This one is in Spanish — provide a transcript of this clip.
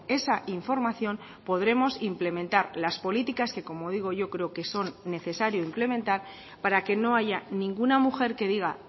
esa información podremos implementar las políticas que como digo yo creo que son necesario implementar para que no haya ninguna mujer que diga